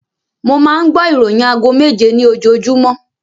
Mo máa ń gbọ́ ìroyìn aago méje ní ojoojúmọ́